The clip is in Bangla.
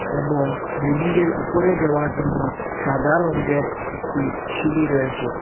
এবং বিল্ডিং গের উপরে যাওয়ার জন্য সাদা রঙ্গের একটি সিঁড়ি রয়েচে ।